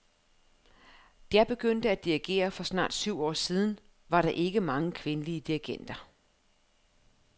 Da jeg begyndte at dirigere for snart tyve år siden, var der ikke mange kvindelige dirigenter.